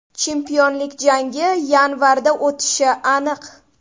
Chempionlik jangi yanvarda o‘tishi aniq.